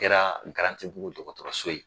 Kɛra Garantigibugu dɔgɔtɔrɔso ye